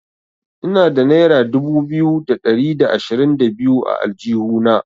Ina da naira dubu biyu da ɗari da ashirin da biyu a aljihuna.